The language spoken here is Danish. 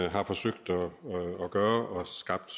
har forsøgt at gøre og skabt